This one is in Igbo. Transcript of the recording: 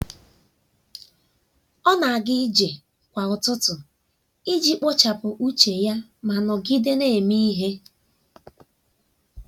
ọ na-aga ije kwa ụtụtụ iji kpochapụ uche ya ma nọgide na-eme ihe.